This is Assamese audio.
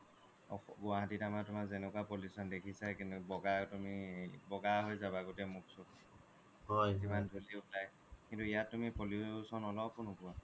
গুৱাহাটী ত আমাৰ তোমাৰ যেনেকোৱা pollution দেখিচাই কেনেকুৱা বগা তুমি বগা হৈ যাবা গোটেই মুখ সুখ কিমান ধূলি উৰাই কিন্তু ইয়াত তুমি pollution অলপয়ো নোপোৱা